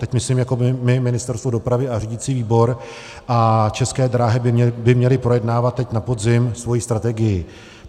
Teď myslím jako my, Ministerstvo dopravy a řídící výbor, a České dráhy by měly projednávat teď na podzim svoji strategii.